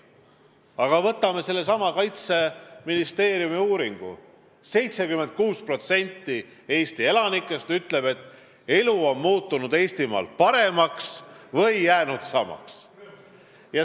Aga võtame sellesama Kaitseministeeriumi uuringu: 76% Eesti elanikest ütleb, et elu Eestimaal on muutunud paremaks või jäänud samaks.